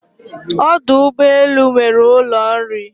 Ọdụ ụgbọ elu nwere ụlọ nri